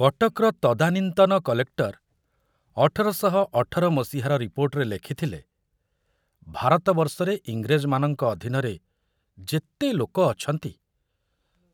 କଟକର ତଦାନୀନ୍ତନ କଲେକ୍ଟର ଅଠର ଶହ ଅଠର ମସିହାର ରିପୋର୍ଟରେ ଲେଖିଥିଲେ, ଭାରତ ବର୍ଷରେ ଇଂରେଜମାନଙ୍କ ଅଧୀନରେ ଯେତେ ଲୋକ ଅଛନ୍ତି,